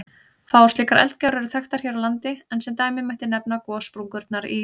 Fáar slíkar eldgjár eru þekktar hér á landi, en sem dæmi mætti nefna gossprungurnar í